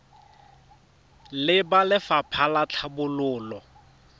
le ba lefapha la tlhabololo